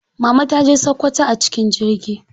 Mama taje sakkwato a cikin jirgi.